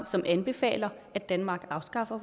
som anbefaler at danmark afskaffer